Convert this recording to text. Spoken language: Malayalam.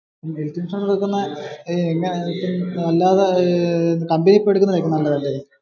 അല്ലാതെ കമ്പനിയിൽ പോയി എടുക്കുന്നതായിരിക്കും നല്ലതേ അല്ലെ?